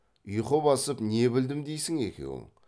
ұйқы басып не білдім дейсің екеуің